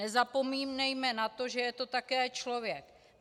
Nezapomínejme na to, že je to také člověk.